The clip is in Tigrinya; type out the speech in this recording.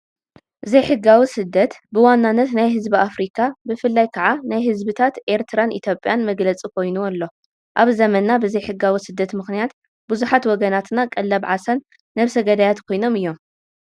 ዘይሕጋዊ ስደት ብዋናነት ናይ ህዝቢ ኣፍሪካ ብፍላይ ከዓ ናይ ህዝብታት ኤርትራን ኢትዮጵያን መግለፂ ኮይኑ ኣሎ፡፡ ኣብ ዘመናንና ብዘይሕጋዊ ስደት ምክንያት ብዙሓት ወገናትና ቀለብ ዓሳን ነብሰ ገዳያትን ኮይኖም እዮም፡፡